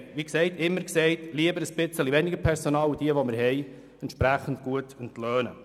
Wir waren immer der Meinung, dass es besser ist, ein bisschen weniger Personal zu haben und dieses dafür besser zu entlohnen.